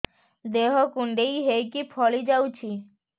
ଦେହ କୁଣ୍ଡେଇ ହେଇକି ଫଳି ଯାଉଛି